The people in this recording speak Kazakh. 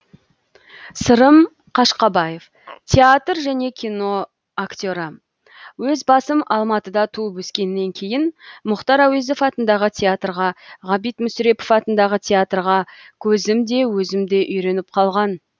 сырым қашқабаев театр және кино актері өз басым алматыда туып өскеннен кейін мұхтар әуезов атындағы театрға ғабит мүсірепов атындағы театрға көзім де өзім де үйреніп қалған